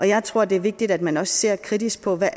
jeg tror det er vigtigt at man også ser kritisk på hvad